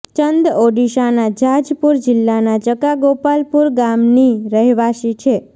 ચંદ ઓડિશાના જાજપુર જિલ્લાના ચકા ગોપાલપુર ગામની રહેવાસી છે